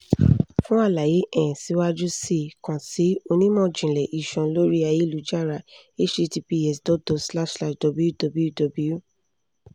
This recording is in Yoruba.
fun alaye um siwaju sii kan si onimọ-jinlẹ iṣan lori ayelujara https dot dot slash slash www